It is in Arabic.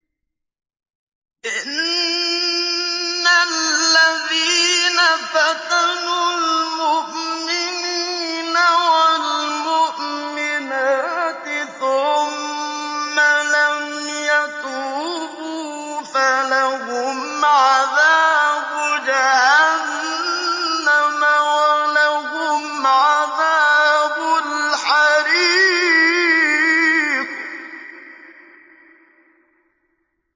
إِنَّ الَّذِينَ فَتَنُوا الْمُؤْمِنِينَ وَالْمُؤْمِنَاتِ ثُمَّ لَمْ يَتُوبُوا فَلَهُمْ عَذَابُ جَهَنَّمَ وَلَهُمْ عَذَابُ الْحَرِيقِ